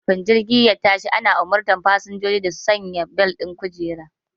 Kafin jirgi ya tashi ana umartar fasinjoji da su sanya bel ɗin kujera